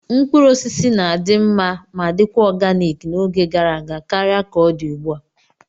Mkpụrụ osisi na-adị mma ma dikwa oganik n'oge gara aga karịa ka ọ dị ugbu a.